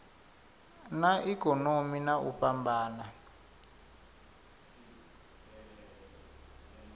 na ikonomi na u fhambana